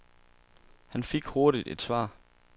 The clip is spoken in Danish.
Han fik hurtigt et svar.